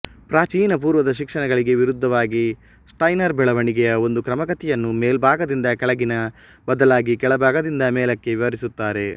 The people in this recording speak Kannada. ಪ್ರಾಚೀನ ಪೂರ್ವದ ಶಿಕ್ಷಣಗಳಿಗೆ ವಿರುದ್ಧವಾಗಿ ಸ್ಟೈನೆರ್ ಬೆಳವಣಿಗೆಯ ಒಂದು ಕ್ರಮಾಗತಿಯನ್ನು ಮೇಲ್ಭಾಗದಿಂದ ಕೆಳಗಿನ ಬದಲಾಗಿ ಕೆಳಭಾಗದಿಂದ ಮೇಲಕ್ಕೆ ವಿವರಿಸುತ್ತಾರೆ